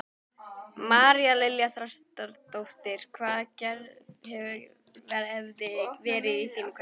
María Lilja Þrastardóttir: Hvað hefði verið í þínum kassa?